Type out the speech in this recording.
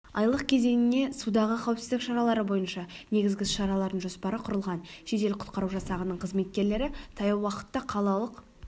айлық кезеңіне судағы қауіпсіздік шаралары бойынша негізгі іс-шаралардың жоспары құрылған жедел-құтқару жасағының қызметкерлері таяу уақытта қалалық